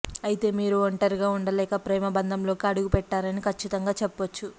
అయితే మీరు ఒంటరిగా ఉండలేక ప్రేమ బంధంలోకి అడుగుపెట్టారని కచ్చితంగా చెప్పొచ్చు